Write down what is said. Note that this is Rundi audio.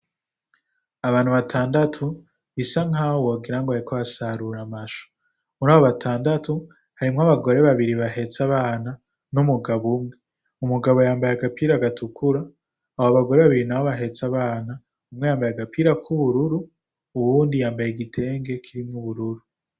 Abantu batandatu bisa nkaho wogirango bariko basarura amashu ,mur'abo batadatu harimwo'abagore babiri bahets'abana n'umugabo umwe. umugabo yambaye agapira gatukura abo bagore babiri nabo bahets'abana umwe yambaye agapira k'ubururu uwundi yambaye igitenge kirimwo ubururu